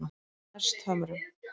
Hesthömrum